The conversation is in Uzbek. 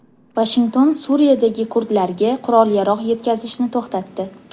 Vashington Suriyadagi kurdlarga qurol-yarog‘ yetkazishni to‘xtatdi.